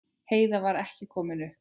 Heiða var ekki komin upp.